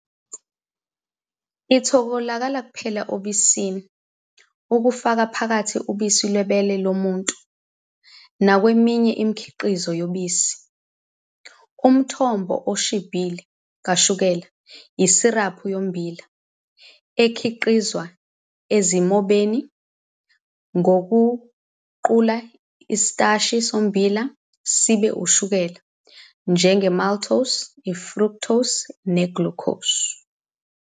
Itholakala kuphela obisini, kufaka phakathi ubisi lwebele lomuntu, nakweminye imikhiqizo yobisi. Umthombo oshibhile kashukela yisiraphu yommbila, ekhiqizwa ezimbonini ngokuguqula isitashi sommbila sibe ushukela, njenge-maltose, i-fructose ne-glucose.